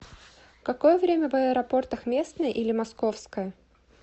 какое время в аэропортах местное или московское